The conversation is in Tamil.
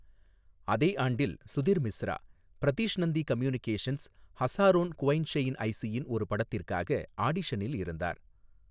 அதே ஆண்டில், சுதிர் மிஸ்ரா, ப்ரிதிஷ் நந்தி கம்யூனிகேஷன்ஸ், ஹஸாரோன் குவைஷெய்ன் ஐசியின் ஒரு படத்திற்காக ஆடிஷனில் இருந்தார்.